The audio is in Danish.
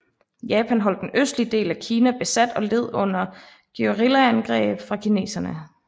Japan holdt den østlige del af Kina besat og led under guerillaangreb fra kineserne